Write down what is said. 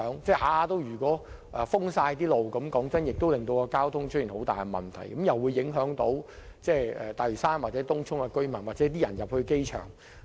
假如每次都全線封路，坦白說，這會令交通出現嚴重問題，亦會影響大嶼山或東涌的居民，以及前往機場的市民。